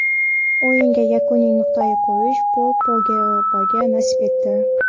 O‘yinga yakuniy nuqtani qo‘yish Pol Pogbaga nasib etdi.